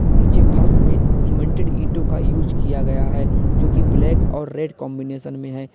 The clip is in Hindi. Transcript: नीचे फर्श में सीमेंटेड ईटों का यूस किया गया है जो कि ब्लैक और रेड कांबिनेशन में है।